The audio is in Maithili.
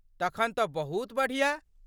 तखन तँ बहुत बढ़िया।